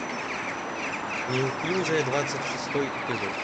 неуклюжая двадцать шестой эпизод